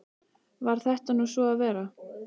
Varð þetta nú svo að vera.